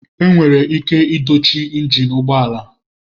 Enwere ike dochie injin ụgbọ ala.